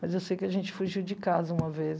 Mas eu sei que a gente fugiu de casa uma vez.